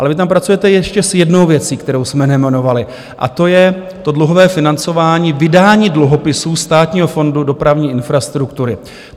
Ale vy tam pracujete ještě s jednou věcí, kterou jsme nejmenovali, a to je to dluhové financování, vydání dluhopisů Státního fondu dopravní infrastruktury.